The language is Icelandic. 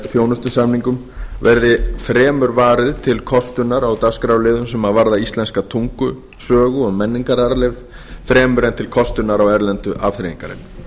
þjónustusamningum verði fremur varið til kostunar á dagskrárliðum sem varða íslenska tungu sögu og menningararfleifð fremur en til kostunar á erlendu afþreyingarefni